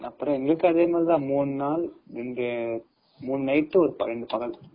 அப்பறம் எங்களுக்கும் அதேமாதிரி தான்.மூணு நாள் மூணு night ரெண்டு பகல்